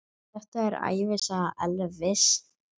Þetta er ævisaga Elvis!